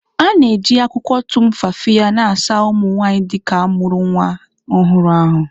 A na-eji akwụkwọ Tumfafiya na-asa ụmụ nwanyị ndị ka mụrụ nnwa ọhụrụ ahụ́.